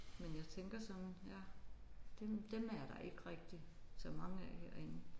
Men jeg tænker sådan ja dem dem er der ikke rigtig så mange af herinde